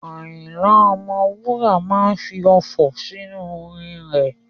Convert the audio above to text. Àyìnlà Ọmọwúrà máa fi ọfọ̀ sí inú orin rẹ̀.